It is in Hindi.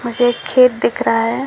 मुझे एक खेत दिख रहा है।